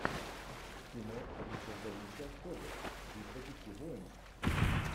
кино ричарда рича хоббит битва пяти воинств